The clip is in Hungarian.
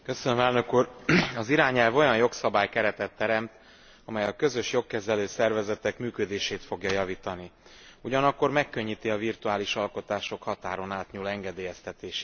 Az irányelv olyan jogszabálykeretet teremt, amely a közös jogkezelő szervezetek működését fogja javítani, ugyanakkor megkönnyíti a virtuális alkotások határon átnyúló engedélyeztetését is.